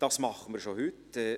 Dies tun wir schon heute: